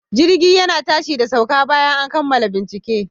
Jirgi yana tashi da sauka bayan an kammala bincike.